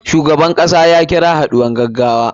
Shugaban kasar ya kira haɗuwar gaggawa.